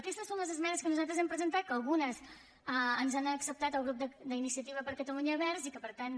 aquestes són les esmenes que nosaltres hem presentat que algunes ens les ha acceptat el grup d’iniciativa per catalunya verds i que per tant